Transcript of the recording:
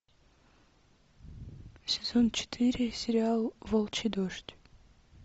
сезон четыре сериал волчий дождь